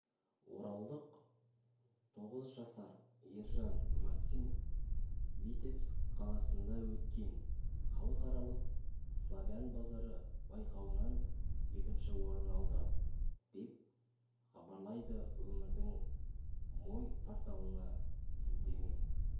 оралдық тоғыз жасар ержан максим витебск қаласында өткен халықаралық славян базары байқауынан екінші орын алды деп хабарлайды өңірдің мой порталына сілтеме